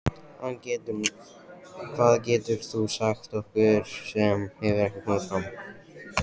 Hvað getur þú sagt okkur sem hefur ekki komið fram?